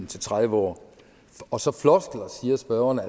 til tredive år og så siger spørgeren at